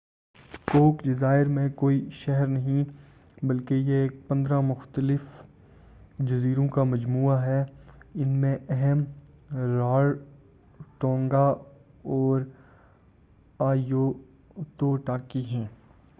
کوک جزائر میں کوئی شہر نہیں ہے بلکہ یہ 15 مختلف جزیروں کا مجموعہ ہے ان میں اہم رارٹونگا اور آئیتو ٹاکی ہیں